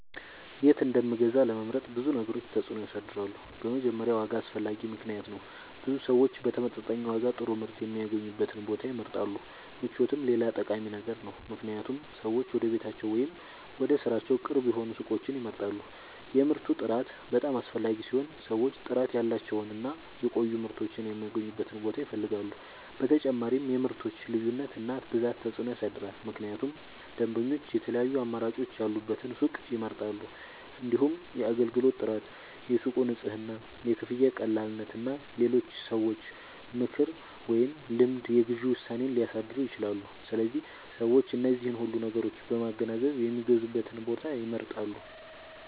የት እንደምንገዛ ለመምረጥ ብዙ ነገሮች ተጽዕኖ ያሳድራሉ። በመጀመሪያ ዋጋ አስፈላጊ ምክንያት ነው፤ ብዙ ሰዎች በተመጣጣኝ ዋጋ ጥሩ ምርት የሚያገኙበትን ቦታ ይመርጣሉ። ምቾትም ሌላ ጠቃሚ ነገር ነው፣ ምክንያቱም ሰዎች ወደ ቤታቸው ወይም ወደ ሥራቸው ቅርብ የሆኑ ሱቆችን ይመርጣሉ። የምርቱ ጥራት በጣም አስፈላጊ ሲሆን ሰዎች ጥራት ያላቸውን እና የሚቆዩ ምርቶችን የሚያገኙበትን ቦታ ይፈልጋሉ። በተጨማሪም የምርቶች ልዩነት እና ብዛት ተጽዕኖ ያሳድራል፣ ምክንያቱም ደንበኞች የተለያዩ አማራጮች ያሉበትን ሱቅ ይመርጣሉ። እንዲሁም የአገልግሎት ጥራት፣ የሱቁ ንጽህና፣ የክፍያ ቀላልነት እና የሌሎች ሰዎች ምክር ወይም ልምድ የግዢ ውሳኔን ሊያሳድሩ ይችላሉ። ስለዚህ ሰዎች እነዚህን ሁሉ ነገሮች በማገናዘብ የሚገዙበትን ቦታ ይመርጣሉ።